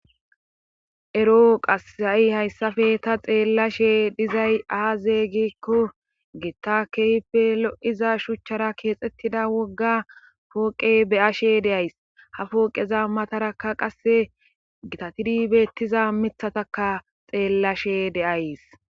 Ero qassai hayssafe ta xeellashe dizay aazeygekko gitta keype lo'iza shuchchara keexxettida wogga pooqe beyashe deyays ha pooqeza mataraka qasse gitatidi beettiza mithataka xeellashe deays.